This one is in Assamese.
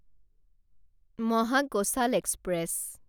মহাকোশাল এক্সপ্ৰেছ